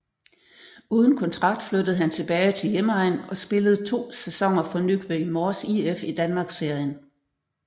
Uden kontrakt flyttede han tilbage til hjemegnen og spillede 2 sæsoner for Nykøbing Mors IF i Danmarksserien